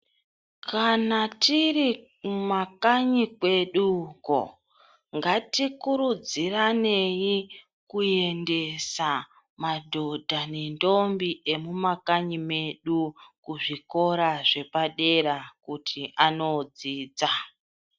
Kana tiri mu makanyi kwedu uko ngati kurudzira neyi kuendesa madhodha ne ndombi emu makanyi medu ku zvikora zvepa dera kuti ano dzidza.